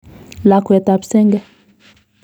Lakwet ap senge.